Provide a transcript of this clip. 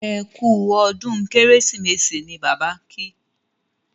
ẹkú ọdún kérésìmesì ní Bàbá kí